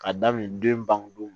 K'a daminɛ den bandon